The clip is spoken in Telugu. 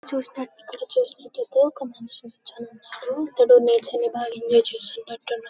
ఇక్కడ చూసుకున్నట్లయితే ఒక మనిషి నుంచుని ఉన్నాడు. అతడు నేచర్ ని బాగా ఎంజాయ్ చేస్తున్నట్టున్నా--